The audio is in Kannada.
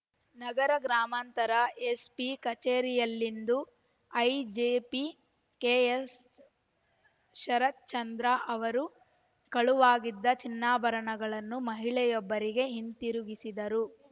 ನಗರದ ಗ್ರಾಮಾಂತರ ಎಸ್ಪಿ ಕಚೇರಿಯಲ್ಲಿಂದು ಐಜಿಪಿ ಕೆಎಸ್ ಶರತ್ ಚಂದ್ರ ಅವರು ಕಳುವಾಗಿದ್ದ ಚಿನ್ನಾಭರಣಗಳನ್ನು ಮಹಿಳೆಯೊಬ್ಬರಿಗೆ ಹಿಂತಿರುಗಿಸಿದರು